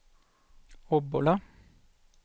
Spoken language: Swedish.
Obbola